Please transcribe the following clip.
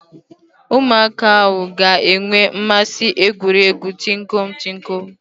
Ụmụaka ahụ ha ga-enwe mmasị egwu egwuregwu tinkọm - tinkọm?